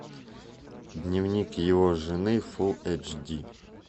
дневник его жены фул эйч ди